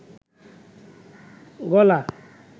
গলা